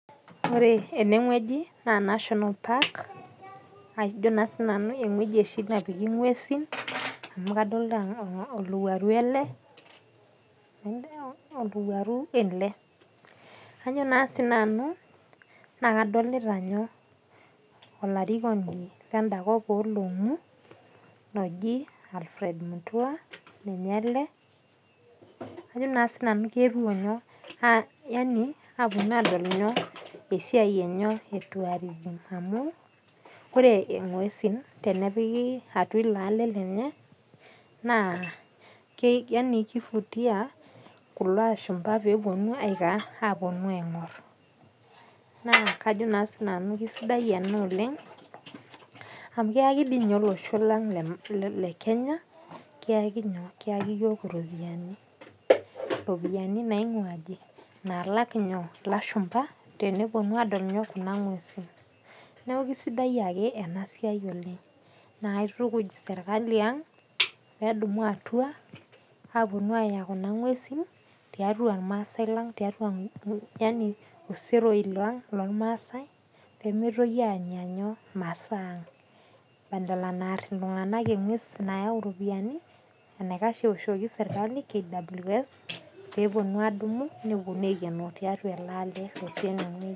Ore enewueji naa national park ajo naa sii nanu eweuji oshi napiki inguesin amu kadolita olowuaru ale, olowuaru ale. Kajo naa sii nanu naa kadolita nyoo? Olarikoni loo olong'u loji Alfred Mutua, ninye ale. ajo naa sii naju kepo enyo? Apponu aadol enyoo? Esiai enyoo? Etuarism amu kore enguesin tenepiki etua ilo ale lenye naa yaani keivutia kulo loshumba peeponu aaponu aing'or . Naa kao naa sii nanu kesidai ana oleng amu keyaki dei ninye olosho lang, olosho le Kenya, keyaki nyoo? Keyaki iropiyiani. Iropiyiani naing'ua aji, naalak nyoo? Ilashumba teneponu aadol inyoo? Kuna inguesin. Neaku kesidai ake ena siai oleng, naa kaitukuj sirkali aang' peedumu atua, aaponu ayau kuna inguesin tiatua ilmaasai ilang' tiatua yaani sseroi olmaaasai pemeitoki aanya inyoo? Masaa aang' badala naarr iltungana inguesi nayau iropoiani, eneikash eoshoki sirkali KWS peponu aadumu, neponu aikenoo tiatua ale il'aale otii enewueji.